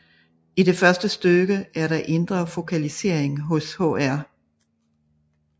I det første stykke er der indre fokalisering hos Hr